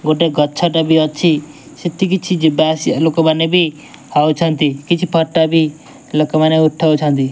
ଗୋଟେ ଗଛ ଟି ବି ଅଛି। ସେଠି କିଛି ଯିବା ଆସିବା ଲୋକ ମାନେ ବି ହଉଛନ୍ତି। କିଛି ଫଟ ଲୋକ ମାନେ ଉଠାଉଛନ୍ତି।